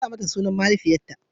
A sa mata sunan mahaifiyarta.